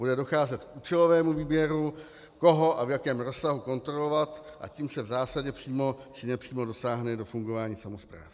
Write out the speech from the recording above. Bude docházet k účelovému výběru, koho a v jakém rozsahu kontrolovat, a tím se v zásadě přímo či nepřímo dosáhne do fungování samospráv.